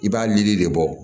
I b'a lili de bɔ